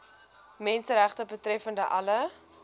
menseregte betreffende alle